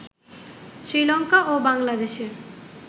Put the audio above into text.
শ্রীলংকা ও বাংলাদেশের